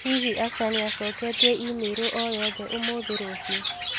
Hihi Asha nĩ acoketie i-mīrū o yothe ũmũthi rũciũ?